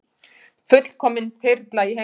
Fullkomin þyrla í heimsókn